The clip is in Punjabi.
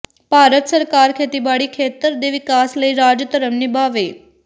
ਭਾਰਤ ਸਰਕਾਰ ਖੇਤੀਬਾੜੀ ਖੇਤਰ ਦੇ ਵਿਕਾਸ ਲਈ ਰਾਜ ਧਰਮ ਨਿਭਾਵੇ